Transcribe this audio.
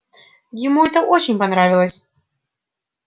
ему это очень понравилось